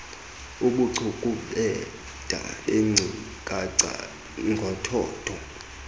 ubucukubhede beenkcukacha ngothotho